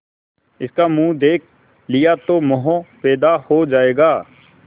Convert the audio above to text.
इसका मुंह देख लिया तो मोह पैदा हो जाएगा